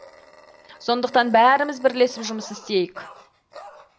сондықтан бәріміз бірлесіп жұмыс істейік